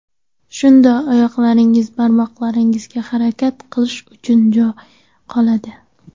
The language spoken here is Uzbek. Shunda oyoqlaringiz barmoqlariga harakat qilish uchun joy qoladi.